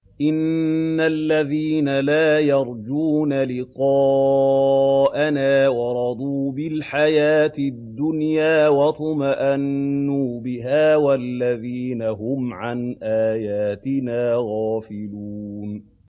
إِنَّ الَّذِينَ لَا يَرْجُونَ لِقَاءَنَا وَرَضُوا بِالْحَيَاةِ الدُّنْيَا وَاطْمَأَنُّوا بِهَا وَالَّذِينَ هُمْ عَنْ آيَاتِنَا غَافِلُونَ